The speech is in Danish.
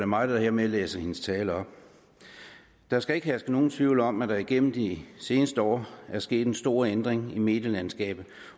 mig der hermed læser hendes tale op der skal ikke herske nogen tvivl om at der igennem de seneste år er sket en stor ændring i medielandskabet